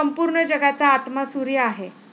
संपूर्ण जगाचा आत्मा सूर्य आहे.